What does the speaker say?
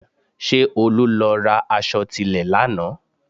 Ṣé Olú lọ ra aṣọ tilẹ̀ lánàá?